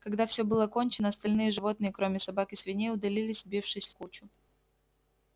когда всё было кончено остальные животные кроме собак и свиней удалились сбившись в кучу